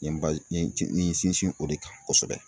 N ye n ye n ci n ye n sinsin o de kan kosɛbɛ.